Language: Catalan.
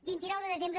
vint nou de desembre